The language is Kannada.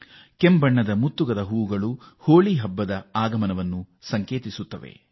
ಕಡು ಕೆಂಪು ಬಣ್ಣದ ಕಾಡು ಮುತ್ತುಗದ ಹೂ ಅರಳಿ ಪರಿಮಳ ಸೂಸಿ ಹೋಳಿಯ ಆಗಮನದ ಸುಳಿವು ನೀಡುತ್ತವೆ